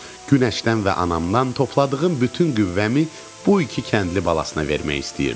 Günəşdən və anamdan topladığım bütün qüvvəmi bu iki kəndli balasına vermək istəyirdim.